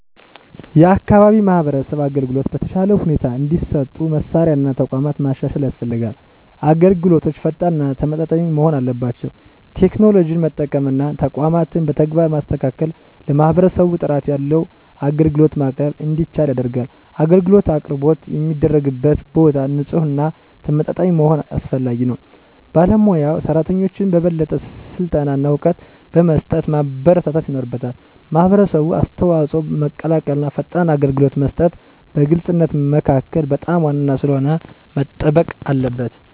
የአካባቢ የማህበረሰብ አገልግሎቶች በተሻለ ሁኔታ እንዲሰጡ መሳሪያ እና ተቋማት ማሻሻል ያስፈልጋል። አገልግሎቶች ፈጣን እና ተመጣጣኝ መሆን አለባቸው። ቴክኖሎጂን መጠቀም እና ተቋማትን በተግባር ማስተካከል ለማህበረሰቡ ጥራት ያለው አገልግሎት ማቅረብ እንዲቻል ያደርጋል። አገልግሎት አቅርቦት የሚደረግበት ቦታ ንፁህና ተመጣጣኝ መሆኑ አስፈላጊ ነው። ባለሞያ ሰራተኞችን በበለጠ ስልጠና እና እውቀት በመስጠት ማበረታታት ይኖርበታል። የማህበረሰብ አስተዋጽኦ መቀላቀል እና ፈጣን አገልግሎት መስጠት በግልፅነት መካከል በጣም ዋና ስለሆነ መጠበቅ አለበት።